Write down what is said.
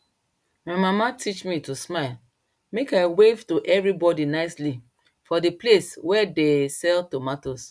my mama teach me to smile make i wave to everybody nicely for di place wey de sell tomato